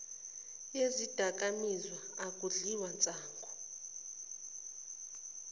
yezidakamizwa akudliwa nsangu